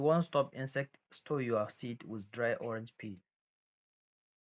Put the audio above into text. if you wan stop insects store your seeds with dry orange peel